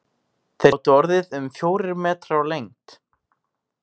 Þeir gátu orðið um fjórir metrar á lengd.